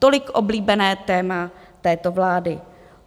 Tolik oblíbené téma této vlády.